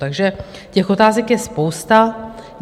Takže těch otázek je spousta.